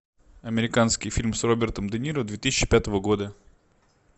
американский фильм с робертом де ниро две тысячи пятого года